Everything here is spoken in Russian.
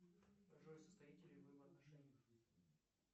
джой состоите ли вы в отношениях